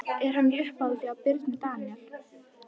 Er hann í uppáhaldi hjá Birni Daníel?